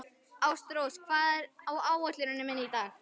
Ástrós, hvað er á áætluninni minni í dag?